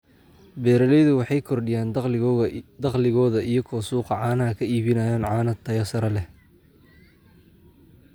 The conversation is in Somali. Beeralaydu waxay kordhiyaan dakhligooda iyagoo suuqa caanaha ka iibinaya caano tayo sare leh.